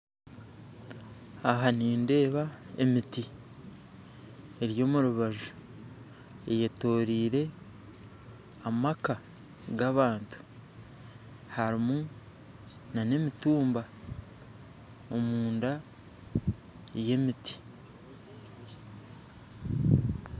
Aha nindeeba emiti eri omu rubaju eyetoreire amaka g'abantu harimu n'emitumba omunda y'emiti